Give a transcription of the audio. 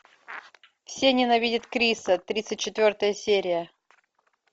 все ненавидят криса тридцать четвертая серия